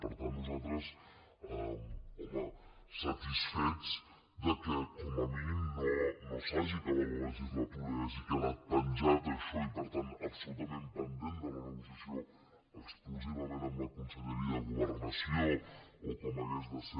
per tant nosaltres home satisfets que com a mínim no s’hagi acabat la legislatura i hagi quedat penjat això i per tant absolutament pendent de la negociació exclusivament amb la conselleria de governació o com hagués de ser